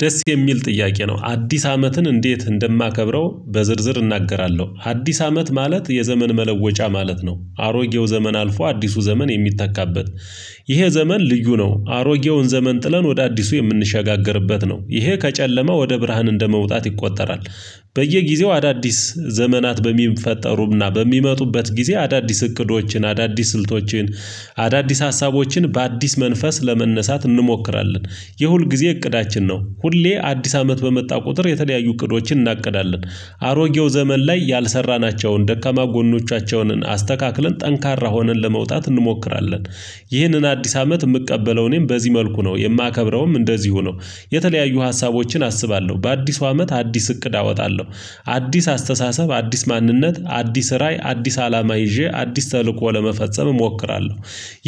ደስ የሚል ጥያቄ ነው። አዲስ አመትን እንዴት እንደማከብረው፣ በዝርዝር እናገራለሁ። አዲስ አመት ማለት የዘመን መለወጫ ማለት ነው። አሮጌው ዘመን አልፎ አዲሱ ዘመን የሚታካበት። ይሄ ዘመን ልዩ ነው። አሮጌውን ዘመን ጥለን ወደ አዲሱ የምንሸጋገርበት ነው። ይሄ ከጨለማ ወደ ብርሃን እንደመውጣት ይቆጠራል። በየጊዜው አዳዲስ ዘመናት በሚፈጠሩና በሚመጡበት ጊዜ አዳዲስ እቅዶችን፣ አዳዲስ ስልቶችን፣ አዳዲስ ሀሳቦችን በአዲስ መንፈስ ለመነሳት እንሞክራለን። የሁልጊዜ እቅዳችን ነው። ሁሌ አዲስ አመት በመጣ ቁጥር የተለያዩ እቅዶችን እናቅዳለን። አሮጌው ዘመን ላይ ያልሰራናቸውን ደካማ ጎኖቻቸውንን አስተካክለን፤ ጠንካራ ሆነን ለመውጣት እንሞክራለን። ይህንን አዲስ አመት የምቀበለው እኔም በዚህ መልኩ ነው። የማከብረውም እንደዚሁ ነው። የተለያዩ ሀሳቦችን አስባለሁ፤ በአዲሱ አመት አዲስ እቅድ አወጣለሁ፤ አዲስ አስተሳሰብ፤ አዲስ ማንነት፤ አዲስ ራዕይ፤ አዲስ አላማ ይዤ አዲስ ተልእኮ ለመፈጸም እሞክራለሁ።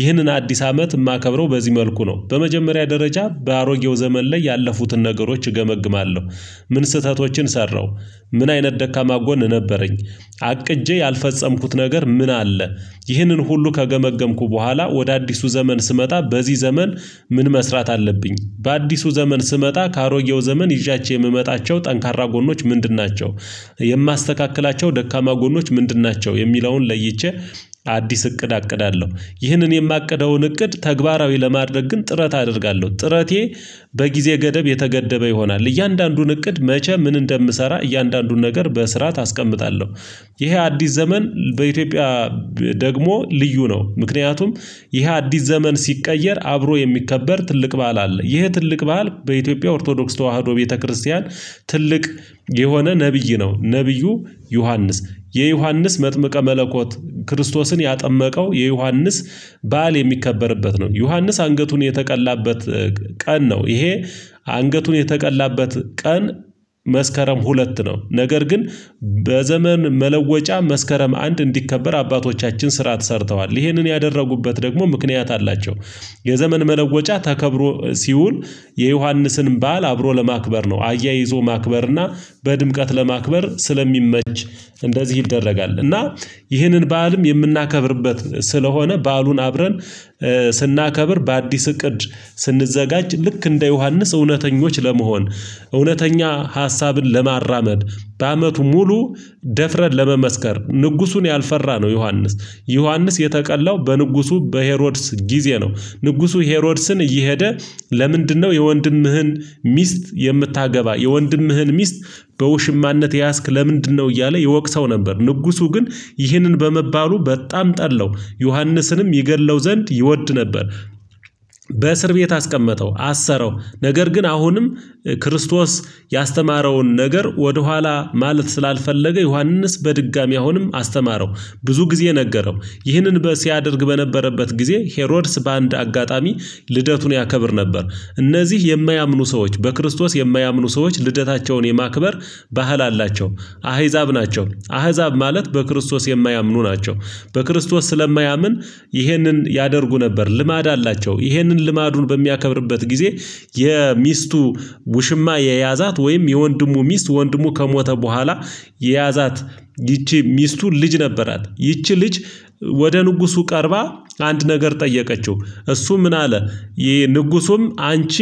ይህንን አዲስ አመት የማከብረው በዚህ መልኩ ነው። በመጀመሪያ ደረጃ በአሮጌው ዘመን ላይ ያለፉትን ነገሮች እገመግማለሁ። ምን ስህተቶችን ሰራሁ? ምን አይነት ደካማ ጎን ነበረኝ? አቅጄ ያልፈጸምኩት ነገር ምን አለ? ይህንን ሁሉ ከገመገምኩ በኋላ ወደ አዲሱ ዘመን ስመጣ በዚህ ዘመን ምን መስራት አለብኝ? በአዲሱ ዘመን ስመጣ ከአሮጌው ዘመን ይዣቸው የምመጣቸው ጠንካራ ጎኖች ምንድን ናቸው? የማስተካክላቸው ደካማ ጎኖች ምንድን ናቸው? የሚለውን ለይቼ አዲስ እቅድ አቅዳለሁ። ይህንን የማቀደውን እቅድ ተግባራዊ ለማድረግ ግን ጥረት አደርጋለሁ ጥረቴ በጊዜ ገደብ የተገደበ ይሆናል። እያንዳንዱን እቅድ መቼ ምን እንደምሰራ እያንዳንዱን ነገር በስርዓት አስቀምጣለሁ። ይሄ አዲስ ዘመን በኢትዮጵያ ደግሞ ልዩ ነው፤ ምክንያቱም ይሄ አዲስ ዘመን ሲቀየር፤ አብሮ የሚከበር ትልቅ በዓል አለ። ይህ ትልቅ በዓል በኢትዮጵያ ኦርቶዶክስ ተዋህዶ ቤተክርስቲያን ትልቅ የሆነ ነብይ ነው። ነብዩ ዮሐንስ፤ የዮሐንስ መጥምቀ መለኮት ክርስቶስን ያጠመቀው፣ የዮሐንስ ባህል የሚከበርበት ነው። ዮሐንስ አንገቱን የተቀላበት ቀን ነው። ይሄ አንገቱን የተቀላበት ቀን መስከረም ሁለት ነው። ነገር ግን በዘመን መለወጫ መስከረም አንድ እንዲከበር አባቶቻችን ስርዓት ሰርተዋል። ይህንን ያደረጉበት ደግሞ ምክንያት አላቸው። የዘመን መለወጫ ተከብሮ ሲውል፤ የዮሐንስን ባህል አብሮ ለማክበር ነው። አያይዞ ማክበርና በድምቀት ለማክበር ስለሚመች፤ እንደዚህ ይደረጋል። እና ይህንን በዓልም የምናከብርበት ስለሆነ፤ በዓሉን አብረን ስናከብር፤ በአዲስ እቅድ ስንዘጋጅ ልክ እንደ ዮሐንስ እውነተኞች ለመሆን እውነተኛ ሀሳብን ለማራመድ፤ በአመቱ ሙሉ ደፍረን ለመመስከር፤ ንጉሱን ያልፈራ ነው ዮሐንስ ዮሐንስ የተቀላው በንጉሱ በሄሮድስ ጊዜ ነው። ንጉሱ ሄሮድስን እየሄደ ለምንድነው የወንድምህን ሚስት የምታገባ፤ የወንድምህን ሚስት በውሽማነት የያዝክ ለምንድነው? እያለ ይወቅሰው ነበር። ንጉሱ ግን ይህንን በመባሉ በጣም ጠላው። ዮሐንስንም ይገድለው ዘንድ ይወድ ነበር። በእስር ቤት አስቀመጠው፤ አሰረው ነገር ግን አሁንም ክርስቶስ ያስተማረውን ነገር ወደኋላ ማለት ስላልፈለገ፤ ዮሐንስ በድጋሚ አሁንም አስተማረው፤ ብዙ ጊዜ ነገረው፤ ይህንን ሲያደርግ በነበረበት ጊዜ ሄሮድስ በአንድ አጋጣሚ ልደቱን ያከብር ነበር። እነዚህ የማያምኑ ሰዎች፣ በክርስቶስ የማያምኑ ሰዎች ልደታቸውን የማክበር ባህል አላቸው። አህዛብ ናቸው። አህዛብ ማለት በክርስቶስ የማያምኑ ናቸው። በክርስቶስ ስለማያምን ይህንን ያደርጉ ነበር። ልማድ አላቸው። ይህንን ልማዱን በሚያከብርበት ጊዜ የሚስቱ ውሽማ የያዛት ወይም የወንድሙ ሚስት፣ ወንድሙ ከሞተ በኋላ የያዛት ይቺ ሚስቱ ልጅ ነበራት። ይቺ ልጅ ወደ ንጉሱ ቀርባ አንድ ነገር ጠየቀችው? እሱ ምን አለ ይሄ ንጉሱም አንቺ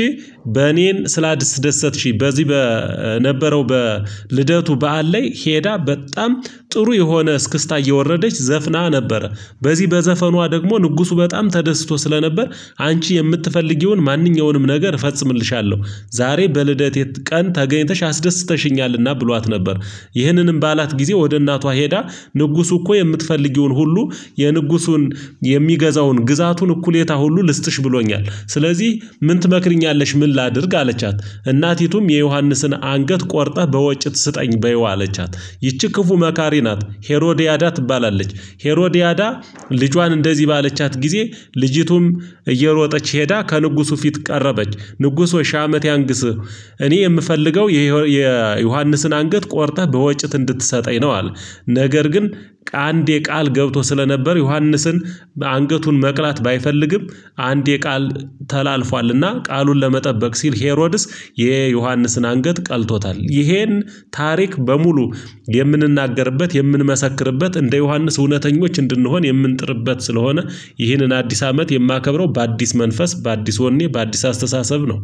በእኔም ስላደሰትሽኝ፤ በዚህ በነበረው በልደቱ በዓል ላይ ሄዳ በጣም ጥሩ የሆነ እስክስታ እየወረደች ዘፍና ነበረ። በዚህ በዘፈኗ ደግሞ ንጉሱ በጣም ተደስቶ ስለነበር፤ አንቺ የምትፈልጊውን ማንኛውንም ነገር እፈጽምልሻለሁ፤ ዛሬ በልደቴ ቀን ተገኝተሽ አስደስተሽኛልና ብሏት ነበር። ይህንንም ባላት ጊዜ ወደ እናቷ ሄዳ ንጉሱ እኮ የምትፈልጊውን ሁሉ የንጉሱን የሚገዛውን ግዛቱን እኩሌታ ሁሉ ልስጥሽ ብሎኛል። ስለዚህ ምን ትመክሪኛለሽ? ምን ላድርግ አለቻት? እናቲቱም የዮሐንስን አንገት ቆርጠህ በወጭት ስጠኝ በይው አለቻት። ይቺ ክፉ መካሪ ናት ሄሮዲያዳ ትባላለች። ሄሮዲያዳ ልጇን እንደዚህ ባለቻት ጊዜ፤ ልጅቱም እየሮጠች ሄዳ፤ ከንጉሱ ፊት ቀረበች፤ ንጉስ ወይ ሽህ አመት ያንግስ እኔ የምፈልገው የዮሐንስን አንገት ቆርጠህ በወጭት እንድትሰጠኝ ነው። ነገር ግን ከአንዴ ቃል ገብቶ ስለነበር፤ ዮሐንስን አንገቱን መቅላት ባይፈልግም፤ አንድ የቃል ተላልፏልና ቃሉን ለመጠበቅ ሲል፤ ሄሮድስ የዮሐንስን አንገት ቀልቶታል። ይሄን ታሪክ በሙሉ የምንናገርበት፣ የምንመሰክርበት እንደ ዮሐንስ እውነተኞች እንድንሆን የምንጥርበት ስለሆነ ይህንን አዲስ አመት የማከብረው በአዲስ መንፈስ፣ በአዲስ ወኔ፣ በአዲስ አስተሳሰብ ነው።